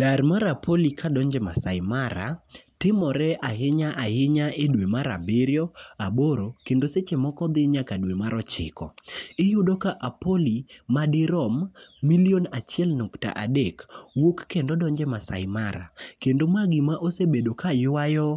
Dar mar apoli kadonjo e Maasai Mara timore ahinya ahinya e dwe mar abiriyo, aboro kendo seche moko dhi nyaka dwe mar ochiko. Iyudo ka apoli madirom milion achiel nukta adek wuok kendo donjo e Maasai Mara. Kendo ma gima osebedo ka ywayo